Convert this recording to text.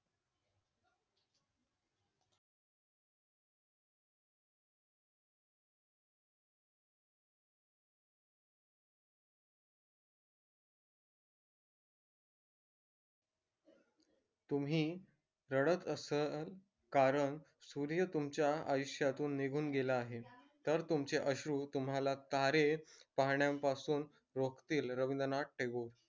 तुम्ही रडत असाल कारण सूर्य तुमच्या आयुष्यातून निघून गेला आहे तर तुमचे अश्रु तुम्हाला तारे पाहण्यापासून रोखतील रविंद्रनाथ टागोर